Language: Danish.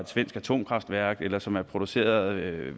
svensk atomkraftværk eller som er produceret af et